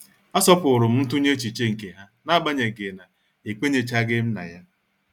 A asọpụrụm ntunye echiche nke ha nagbanyeghị na ekwenyechaghim na ya.